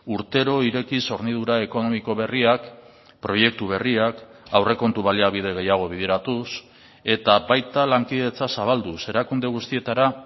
urtero irekiz hornidura ekonomiko berriak proiektu berriak aurrekontu baliabide gehiago bideratuz eta baita lankidetza zabalduz erakunde guztietara